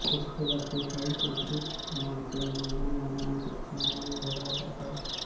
इसके बाद स्वचालित अंतरिक्ष यान से इंधन मानव अंतरिक्षयान में भरा जाता